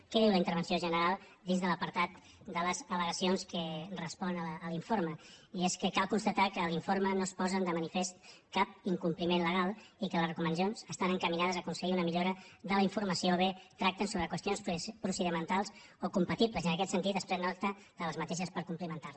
què diu la intervenció general dins de l’apartat de les al·legacions que respon a l’informe i és que cal constatar que a l’informe no es posa de manifest cap incompliment legal i que les recomanacions estan encaminades a aconseguir una millora de la informació o bé tracten sobre qüestions procedimentals o compatibles i en aquest sentit se’n pren nota per complimentar les